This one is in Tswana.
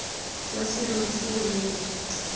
wa serori se boleele jwa